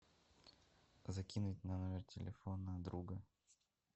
закинуть на номер телефона друга